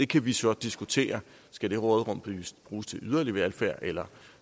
kan vi så diskutere skal det råderum bruges til yderligere velfærd eller